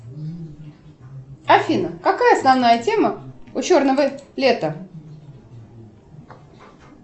афина какая основная тема у черного лета